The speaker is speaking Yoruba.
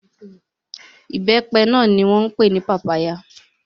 Ìbẹ́pẹ náà ni wọ́n pè ní papaya.